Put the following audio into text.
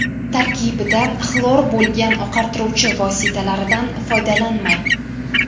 Tarkibida xlor bo‘lgan oqartiruvchi vositalaridan foydalanmang.